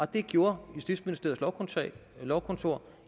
det gjorde justitsministeriets lovkontor